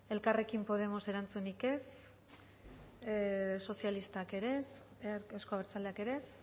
elkarrekin podemos erantzunik ez sozialistak ere ez euzko abertzaleak ere ez